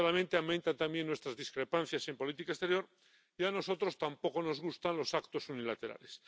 Desgraciadamente, aumentan también nuestras discrepancias en política exterior y a nosotros tampoco nos gustan los actos unilaterales.